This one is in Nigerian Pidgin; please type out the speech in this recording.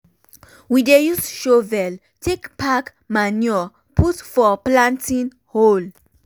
we dey use shovel take pack manure put for planting hole.